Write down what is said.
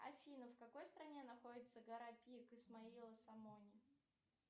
афина в какой стране находится гора пик исмаила самони